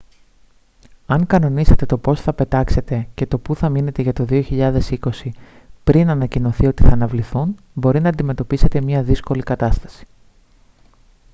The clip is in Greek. αν κανονίσατε το πώς θα πετάξετε και του που θα μείνετε για το 2020 πριν ανακοινωθεί ότι θα αναβληθούν μπορεί να αντιμετωπίσετε μια δύσκολη κατάσταση